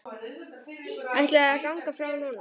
Ætlarðu að ganga frá núna?